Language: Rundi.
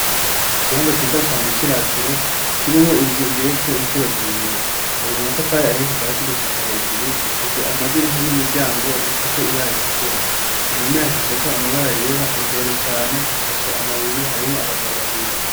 Ikibanza ciza cane c'iratiro kirimwo inzu igeretse inshuro zibiri yonje amatafari ahiye kuva asi gushika hejuru ifise amadirisha n'imiryango bifise ibara itukura, ku muma yazze ko amabara yera imbere cane hashashe amabuye harimwo abagabo babiri.